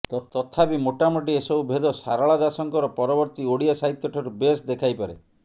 ତଥାପି ମୋଟାମୋଟି ଏସବୁ ଭେଦ ସାରଳାଦାସଙ୍କର ପରବର୍ତ୍ତୀ ଓଡ଼ିଆ ସାହିତ୍ୟଠାରୁ ବେଶ୍ ଦେଖାଇପାରେ